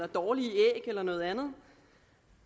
dårlige æg eller noget andet